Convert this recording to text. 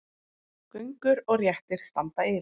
Göngur og réttir standa yfir.